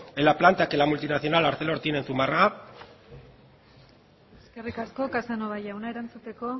en la planta que la multinacional arcelor tiene en zumarraga eskerrik asko casanova jauna erantzuteko